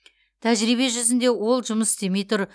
тәжірибе жүзінде ол жұмыс істемей тұр